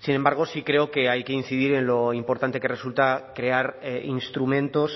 sin embargo sí creo que hay que incidir en lo importante que resulta crear instrumentos